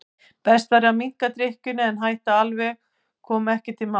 Best væri að minnka drykkjuna en að hætta alveg kom ekki til mála.